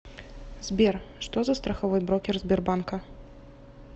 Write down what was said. сбер что за страховой брокер сбербанка